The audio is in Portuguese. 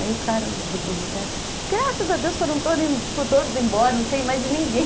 Aí o cara do boteco falou, graças a Deus foram todos embora, não sei mais de ninguém.